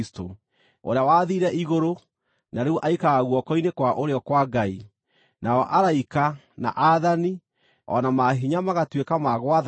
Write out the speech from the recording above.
ũrĩa wathiire igũrũ na rĩu aikaraga guoko-inĩ kwa ũrĩo kwa Ngai, nao araika, na aathani, o na maahinya magatuĩka ma gwathagwo nĩwe.